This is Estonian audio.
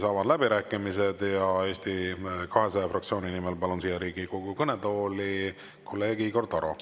Avan läbirääkimised ja Eesti 200 fraktsiooni nimel kõnelema palun siia Riigikogu kõnetooli kolleeg Igor Taro.